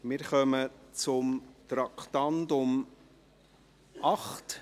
Wir kommen zu Traktandum 8 .